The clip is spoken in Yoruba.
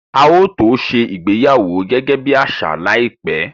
A ó tó ṣe ìgbéyàwó gẹ́gẹ́ bí àṣà láìpẹ́